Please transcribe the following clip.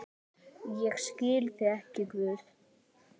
Ég skil þig ekki, Guð.